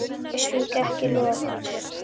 Ég svík ekki loforð.